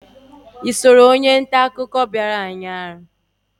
Gị na onye nta akụkọ bịara ụnyaahụ anọ?